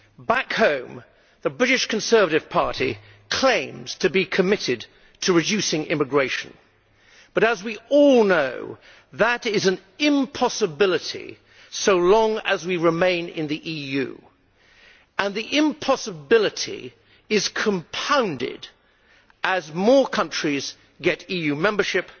Back home, the British Conservative Party claims to be committed to reducing immigration. But, as we all know, that is an impossibility so long as we remain in the EU, and the impossibility is compounded as more countries get EU membership